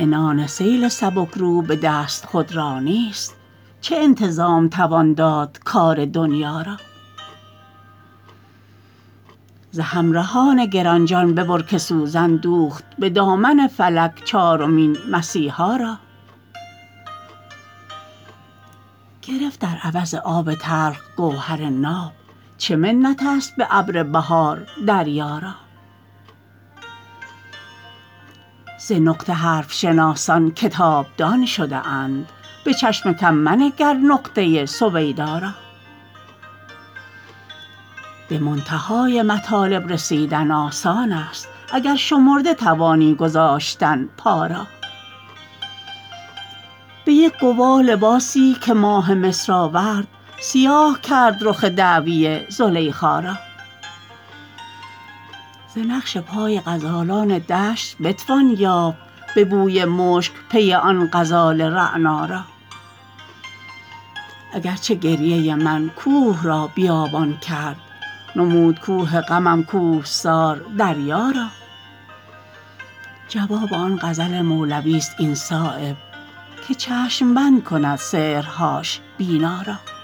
عنان سیل سبکرو به دست خودرایی است چه انتظام توان داد کار دنیا را ز همرهان گرانجان ببر که سوزن دوخت به دامن فلک چارمین مسیحا را گرفت در عوض آب تلخ گوهر ناب چه منت است به ابر بهار دریا را ز نقطه حرف شناسان کتاب دان شده اند به چشم کم منگر نقطه سویدا را به منتهای مطالب رسیدن آسان است اگر شمرده توانی گذاشتن پا را به یک گواه لباسی که ماه مصر آورد سیاه کرد رخ دعوی زلیخا را ز نقش پای غزالان دشت بتوان یافت به بوی مشک پی آن غزال رعنا را اگر چه گریه من کوه را بیابان کرد نمود کوه غمم کوهسار صحرا را جواب آن غزل مولوی است این صایب که چشم بند کند سحرهاش بینا را